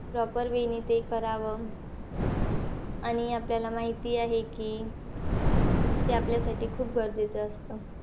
Proper way ने ते करावं. आणि आपल्याला माहिती आहे की, ते आपल्यासाठी खूप गरजेचं असतं.